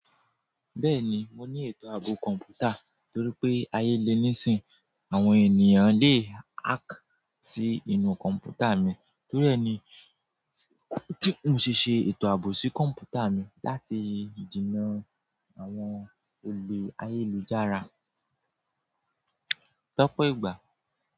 Bẹ́ẹ̀ni, mo ní ètò ààbò kọ̀ǹpútà torí pé ayé lè níìsín, àwọn ènìyàn le hack sí inú kọ̀ǹpútà mi torí ẹ ni n kí n ṣe ètò ààbò sí kọ̀ǹpútà mi láti jìnnà àwọn olè ayélujára. Lopo igba,